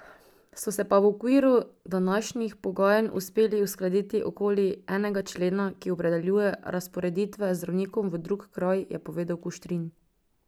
So se pa v okviru današnjih pogajanj uspeli uskladiti okoli enega člena, ki opredeljuje razporeditve zdravnikov v drug kraj, je povedal Kuštrin.